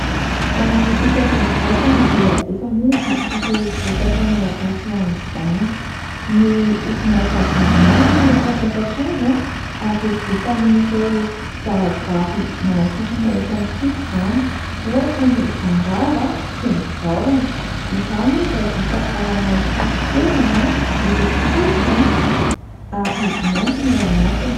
Ho an'ny fitsaboana vatana dia efa misy ireo vokatra malagasy ho an'izany. Ny orinasa Vaniala no mpamokatra azy, ary vita amin'ireo zavaboary manasitrana eto amintsika izany, ohatra : ny fandrava, sy ny vahona. Izany moa dia vita ao anaty fitoerany miloko fotsy, ary mainty ny ao anatiny.